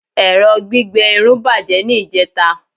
ẹrọ gbígbẹ Irun bajẹ ni ijeta